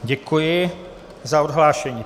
Děkuji za odhlášení.